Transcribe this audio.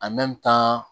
tan